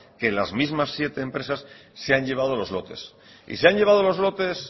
que las mismas siete empresas se han llevado los lotes y se han llevado los lotes